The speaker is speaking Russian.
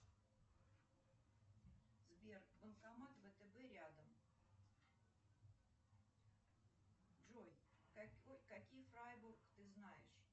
сбер банкомат втб рядом джой какие фрайбург ты знаешь